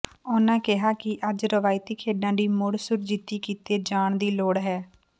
ਉਨ੍ਹਾਂ ਕਿਹਾ ਕਿ ਅੱਜ ਰਵਾਇਤੀ ਖੇਡਾਂ ਦੀ ਮੁੜ ਸੁਰਜੀਤੀ ਕੀਤੇ ਜਾਣ ਦੀ ਲੋੜ ਹੈ